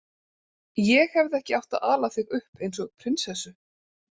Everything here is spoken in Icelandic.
Ég hefði ekki átt að ala þig upp eins og prinsessu.